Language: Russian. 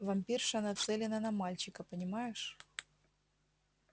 вампирша нацелена на мальчика понимаешь